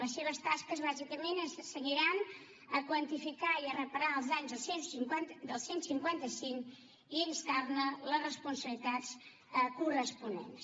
les seves tasques bàsicament es cenyiran a quantificar i a reparar els danys del cent i cinquanta cinc i a instar ne les responsabilitats corresponents